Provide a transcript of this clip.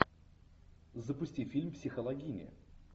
запусти фильм психологини